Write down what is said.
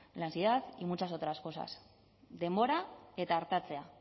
la ansiedad y muchas otras cosas denbora eta artatzea